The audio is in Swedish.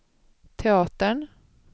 teatern